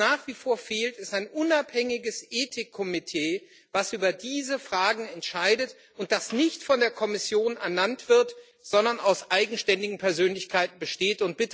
Was nach wie vor fehlt, ist ein unabhängiges Ethikkomitee, das über diese Fragen entscheidet und das nicht von der Kommission ernannt wird, sondern aus eigenständigen Persönlichkeiten besteht.